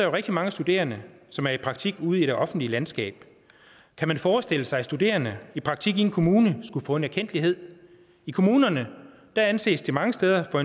rigtig mange studerende som er i praktik ude i det offentlige landskab kan man forestille sig at studerende i praktik i en kommune skulle få en erkendtlighed i kommunerne anses det mange steder for